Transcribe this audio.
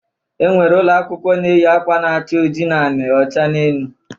E nwere ụlọakwụkwọ na-eyi akwa na-acha oji n'anị, ọcha n'elu.